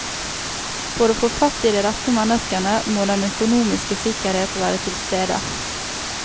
For å få fatt i de rette menneskene må den økonomiske sikkerhet være tilstede.